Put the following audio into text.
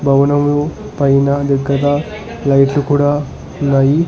భవనం పైన దగ్గర లైట్లు కూడా ఉన్నాయి.